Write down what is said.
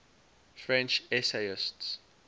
french essayists